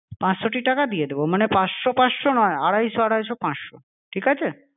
পাঁচশোটি টাকা দিয়ে দেবো। মানে পাঁচশো পাঁচশো নয়, আড়াইশো আড়াইশো পাঁচশো। ঠিক আছে?